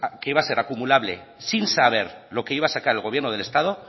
que iba a ser acumulable sin saber lo que iba a sacar el gobierno del estado